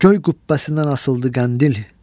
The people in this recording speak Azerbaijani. Göy qübbəsindən asıldı qəndil,